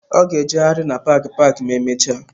Ọ ga-ejegharị na paaki paaki ma emechaa.